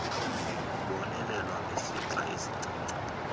kubonelelwa ngesixa esincinci